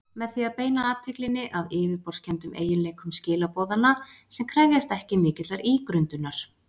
Með því að beina athyglinni að yfirborðskenndum eiginleikum skilaboðanna sem krefjast ekki mikillar ígrundunar.